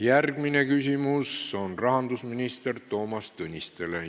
Järgmine küsimus on rahandusminister Toomas Tõnistele.